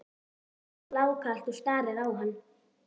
spyr hún blákalt og starir á hann.